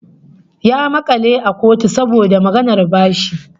Ya maka ni a kotu saboda maganar bashi